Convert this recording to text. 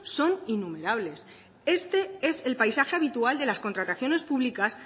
son innumerables este es el paisaje habitual de las contrataciones públicas